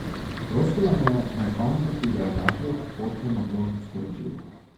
Prosila me je, naj fantu, ki ga je našel, pošljemo to sporočilo.